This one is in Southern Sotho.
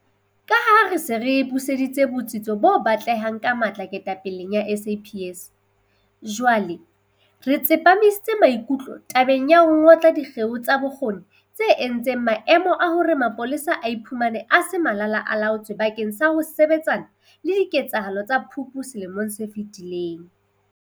Ka ha re se re buseditse botsitso bo batlehang ka matla ketapeleng ya SAPS, jwale re tsepamisitse maikutlo tabeng ya ho ngotla dikgeo tsa bokgoni tse entseng maemong a hore mapolesa a iphumane a se Malala-a-laotswe bakeng sa ho sebetsana le diketsahalo tsa Phupu selemong se fetileng.